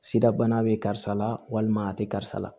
Sida bana bɛ karisa la walima a tɛ karisa la